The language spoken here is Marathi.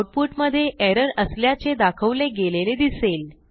आऊटपुट मधे एरर असल्याचे दाखवले गेलेले दिसेल